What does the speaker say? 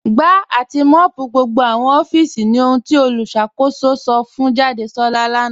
Gbà àti mọ́ọ̀pù gbogbo awọn òfíìsì ní òhùn tí olùṣakòsò sọ̀ fún Jàdésolá lánà.